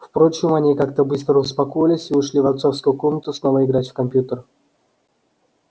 впрочем они как-то быстро успокоились и ушли в отцовскую комнату снова играть в компьютер